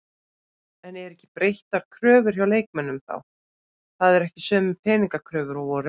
En eru ekki breyttar kröfur hjá leikmönnum þá, það eru ekki sömu peningakröfur og voru?